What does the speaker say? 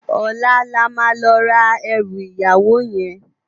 Òlá lá ma lò rá èrù iyáwó yèn